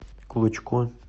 клочко